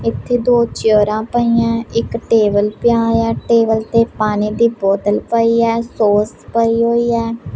ਇੱਥੇ ਦੋ ਚੇਅਰਾਂ ਪਈਆਂ ਇੱਕ ਟੇਬਲ ਪਿਆ ਹੋਇਆ ਟੇਬਲ ਤੇ ਪਾਣੀ ਦੀ ਬੋਤਲ ਪਈ ਹੈ ਸੌਸ ਪਈ ਹੋਈ ਹੈ।